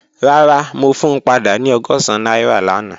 Rara, mo fun pada ni ọgọ́sán naira lana.